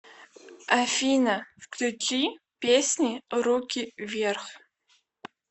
афина включи песни руки вверх